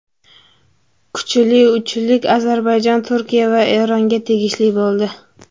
Kuchli uchlik Ozarbayjon, Turkiya va Eronga tegishli bo‘ldi.